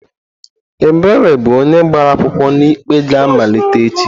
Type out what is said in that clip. Ebere bụ onye gbara akwụkwọ na ikpe ga-amalite echi.